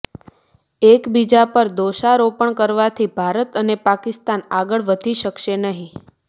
એકબીજા પર દોષારોપણ કરવાથી ભારત અને પાકિસ્તાન આગળ વધી શકશે નહીં